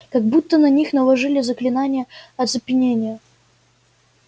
как будто на них наложили заклинание оцепенения